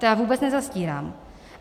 To já vůbec nezastírám.